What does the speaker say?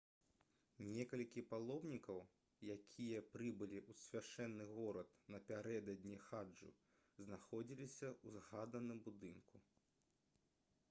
некалькі паломнікаў якія прыбылі ў свяшчэнны горад напярэдадні хаджу знаходзіліся ў згаданым будынку